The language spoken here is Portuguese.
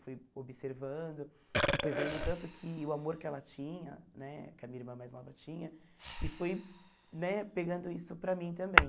Fui observando, fui vendo tanto que o amor que ela tinha né, que a minha irmã mais nova tinha, e fui né pegando isso para mim também.